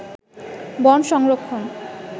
বন সংরক্ষণ